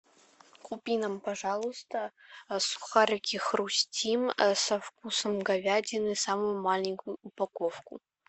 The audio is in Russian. купи нам пожалуйста сухарики хрустим со вкусом говядины самую маленькую упаковку